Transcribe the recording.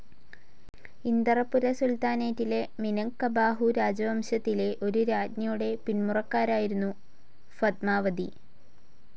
Inderapura സുൽത്താനേറ്റിലെ മിനങ്ക്കബാഹു രാജവംശത്തിലെ ഒരു രാജ്ഞിയുടെ പിന്മുറക്കാരായിരുന്നു ഫത്മാവതി.